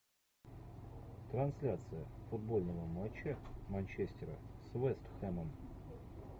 трансляция футбольного матча манчестера с вест хэмом